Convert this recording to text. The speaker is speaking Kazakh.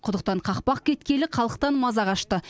құдықтан қақпақ кеткелі халықтан маза қашты